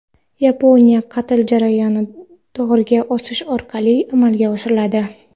Yaponiyada qatl jarayoni dorga osish orqali amalga oshiriladi.